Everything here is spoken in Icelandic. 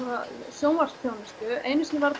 sjónvarpsþjónustu einu sinni var